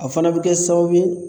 A fana bɛ kɛ sababu ye